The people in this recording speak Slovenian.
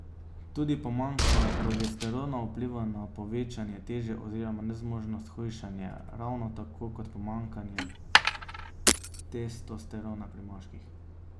Tudi pomanjkanje progesterona vpliva na povečanje teže oziroma nezmožnost hujšanja, ravno tako kot pomanjkanje testosterona pri moških.